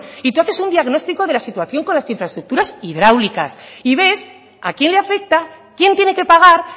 y tú haces un diagnóstico de la situación con las infraestructuras hidráulicas y ves a quién le afecta quién tiene que pagar